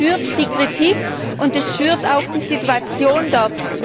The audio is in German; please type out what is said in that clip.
Das schürt die Kritik und verschärft auch die Situation dort.